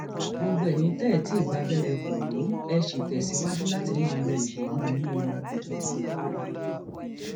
gbogbo eyín tẹ ẹ ti gba abẹrẹ koro ẹ sì tẹsíwájú láti máa lo ìbomú yín o ìjọba kwara